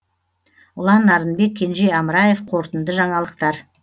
ұлан нарынбек кенже амраев қорытынды жаңалықтар